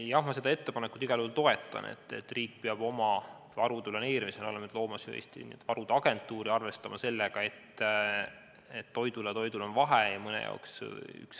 Jah, seda ettepanekut ma igal juhul toetan – riik peab oma varude planeerimisel looma varude agentuuri ja arvestama sellega, et toidul ja toidul on vahe.